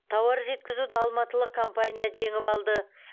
тауар жеткізуді алматылық компания жеңіп алды